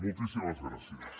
moltíssimes gràcies